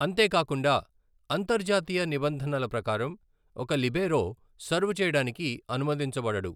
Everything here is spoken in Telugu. అంతేకాకుండా, అంతర్జాతీయ నిబంధనల ప్రకారం, ఒక లిబేరో సర్వ్ చేయడానికి అనుమతించబడడు.